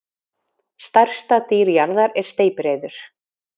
stærsta dýr jarðar er steypireyður